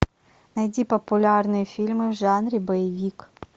найди популярные фильмы в жанре боевик